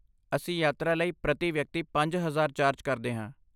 ਅਸੀਂ ਯਾਤਰਾ ਲਈ ਪ੍ਰਤੀ ਵਿਅਕਤੀ ਪੰਜ ਹਜ਼ਾਰ ਚਾਰਜ ਕਰਦੇ ਹਾਂ